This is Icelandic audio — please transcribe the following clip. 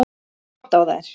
Gott á þær!